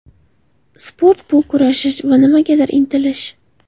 Sport bu kurashish va nimagadir intilish.